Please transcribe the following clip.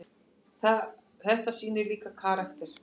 Þetta sýnir líka karakter.